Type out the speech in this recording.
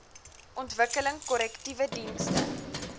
ontwikkeling korrektiewe dienste